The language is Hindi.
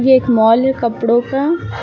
एक मॉल है कपड़ों का।